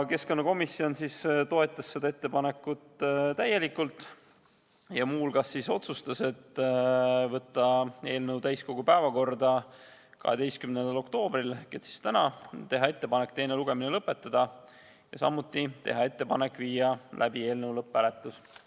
Keskkonnakomisjon toetas seda ettepanekut täielikult ja muu hulgas otsustas panna eelnõu täiskogu päevakorda 12. oktoobriks ehk tänaseks, teha ettepaneku teine lugemine lõpetada ja samuti teha ettepaneku viia läbi eelnõu lõpphääletus.